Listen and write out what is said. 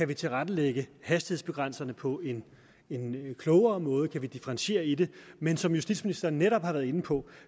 kan tilrettelægge hastighedsbegrænsningerne på en klogere måde kan differentiere i det men som justitsministeren netop har været inde på